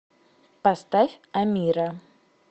поставь амира